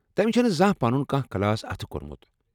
تمہِ چُھنہٕ نہٕ زانٛہہ پنُن كانہہ کلاس اتھہٕ کوٚرمت۔